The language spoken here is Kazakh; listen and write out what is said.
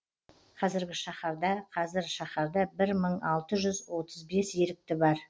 қазіргі шахарда қазір шаһарда бір мың алты жүз отыз бес ерікті бар